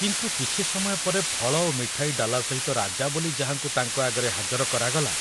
କିନ୍ତୁ କିଛି ସମୟ ପରେ ଫଳ ଓ ମିଠାଇ ଡାଲା ସହିତ ରାଜା ବୋଲି ଯାହାଙ୍କୁ ତାଙ୍କ ଆଗରେ ହାଜର କରାଗଲା